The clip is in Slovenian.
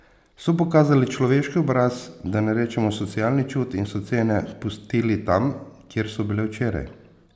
So pokazali človeški obraz, da ne rečemo socialni čut, in so cene pustili tam, kjer so bile včeraj.